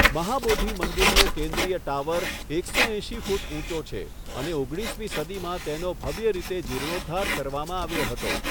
મહાબોધિ મંદિરનો કેન્દ્રીય ટાવર એકસો એંશી ફૂટ ઊંચો છે અને ઓગણીસમી સદીમાં તેનો ભવ્ય રીતે જીર્ણોદ્ધાર કરવામાં આવ્યો હતો.